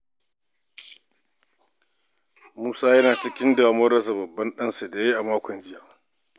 Musa yana cikin damuwar rasa babban ɗansa da ya yi a makon jiya.